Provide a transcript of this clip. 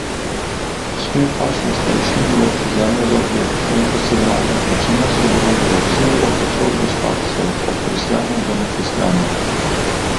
Svet vaških starešin določi zemljo za objekt, in ko se gradnja začne, sodelujejo vsi, od otrok do starcev, od kristjanov do nekristjanov.